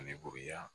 Ani buguriya